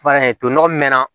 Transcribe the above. to nɔgɔ min mɛna